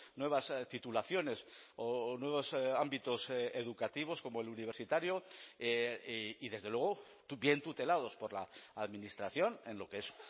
nuevas titulaciones o nuevos ámbitos educativos como el universitario y desde luego bien tutelados por la administración en lo que es